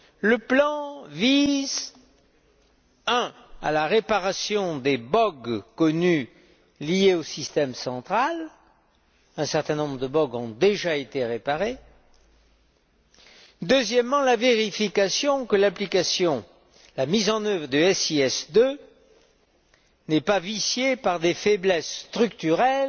Le plan vise, premièrement, la réparation des bogues connus liés au système central un certain nombre de bogues ont déjà été réparés et, deuxièmement, la vérification que l'application, la mise en œuvre de SIS II n'est pas viciée par des faiblesses structurelles